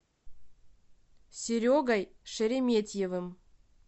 серегой шереметьевым